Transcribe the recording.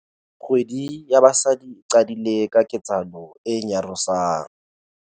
Kgwedi ya Basadi e qadile ka ketsahalo e nyarosang.